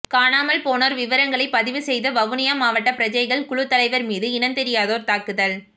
காணாமல் போனோர் விவரங்களை பதிவு செய்த வவுனியா மாவட்ட பிரஜைகள் குழு தலைவர் மீது இனந்தெரியாதோர் தாக்குதல்